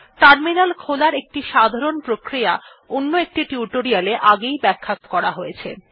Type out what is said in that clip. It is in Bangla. টার্মিনাল খোলার একটি সাধারণ প্রক্রিয়া অন্য একটি টিউটোরিয়ালে আগেই ব্যাখ্যা করা হয়েছে